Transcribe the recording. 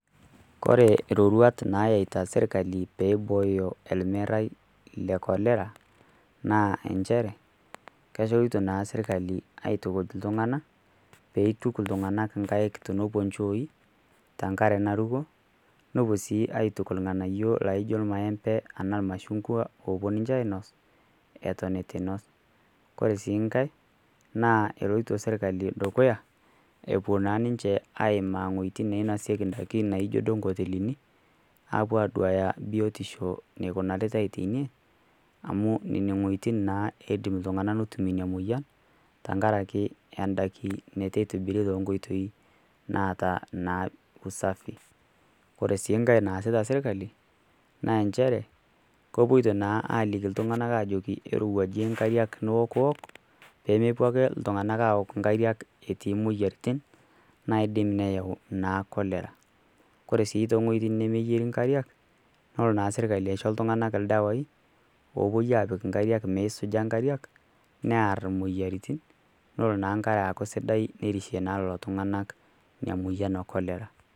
Kore iroruat nayaita serkali peyie eibooyo ermerai le Cholera naa inchere, kepuoita naa serkali aitukuj iltung'ana, pee eituk iltung'ana inkaik tenepuo inchooi tenkare naruko, nepuo sii aituku ilg'anayio laijo olmaembe ashu olmashugwa loopuo ninche ainos, eton eisnos. Ore sii enkai naa keloito naa serkali dukuya apuo naa ninche aimaa inwuetin nainosieki indaiki naijo duo inkotelini, apuo aduaya biotisho neikunaritai teine, amu inwuetin naa naijo nena etumie emoyian, tenkaraki endaiki neitu eitobirieki inkoitoi naata naa usafi ore sii enkai naasita serkali naa nchere, kepuoita naa aliki iltung'ana nchere ajoki eirowuuaje inkariak niokuok pee mepuo ake iltung'ana aok nkare etii imoyaritin naidim nayau naa Cholera. Ore sii too inwuetin nemeyieri inkariak, nelo naa serkali aisho iltung'ana ildawai oopuo apik inkariak neisujia inkariak near imoyaritin, nelo naa nkare aaku sidai nerishie naa lelo tung'ana Ina moyian e Cholera.